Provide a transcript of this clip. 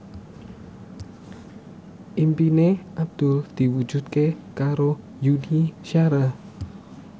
impine Abdul diwujudke karo Yuni Shara